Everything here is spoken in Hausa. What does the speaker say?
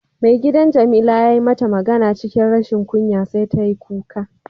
Maigidan jamila yayi mata magana cikin rashin kunya sai ta yi kuka.